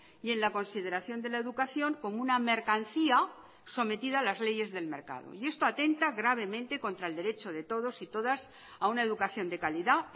y en la consideración de la educación como una mercancía sometida a las leyes del mercado y esto atenta gravemente contra el derecho de todos y todas a una educación de calidad